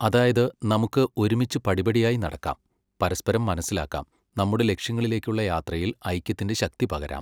അതായത്, നമുക്ക് ഒരുമിച്ച് പടിപടിയായി നടക്കാം, പരസ്പരം മനസ്സിലാക്കാം, നമ്മുടെ ലക്ഷ്യങ്ങളിലേക്കുള്ള യാത്രയിൽ ഐക്യത്തിന്റെ ശക്തി പകരാം.